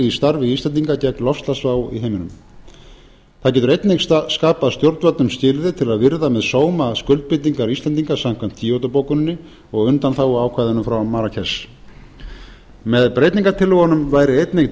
í starfi íslendinga gegn loftslagsvá í heiminum það getur einnig skapað stjórnvöldum skilyrði til að virða með sóma skuldbindingar íslendinga samkvæmt kyoto bókuninni og undanþáguákvæðinu frá marrakesh með breytingartillögunum væri einnig